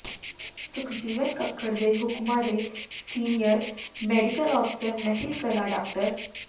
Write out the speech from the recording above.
ਸੁਖਜੀਵਨ ਕੱਕੜ ਦੇ ਹੁਕਮਾਂ ਤੇ ਸੀਨੀਅਰ ਮੈਡੀਕਲ ਅਫ਼ਸਰ ਮਹਿਲ ਕਲਾਂ ਡਾ